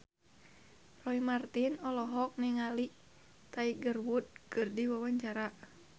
Roy Marten olohok ningali Tiger Wood keur diwawancara